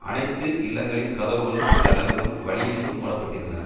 அனைத்து இல்லங்களின் கதவுகளும் ஜன்னல்களும் வழியெங்கும் மூடப்பட்டிருந்தன